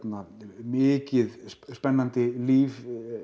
mikið spennandi líf